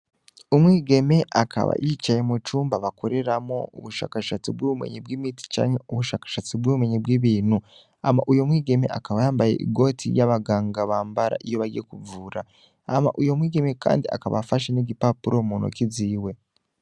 Umwigeme akaba yicaye mu cumba bakoreramwo ubushakashatsi bw'ubumenyi bw'imiti cane ubushakashatsi bw'ubumenyi bw'ibintu hama uyo mwigeme akaba yambaye igoti ry'abaganga bambara iyo bagiye kuvura hama uyo mwigeme, kandi akaba afashe n'igipapuro muntoke ziwe